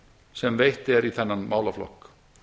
sem veitt er í þennan málaflokk